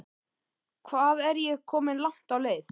Hvað er ég komin langt á leið?